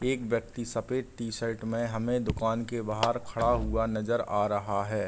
एक व्यक्ति सफेद टी-शर्ट में हमें दुकान के बाहर खड़ा हुआ नज़र आ रहा है।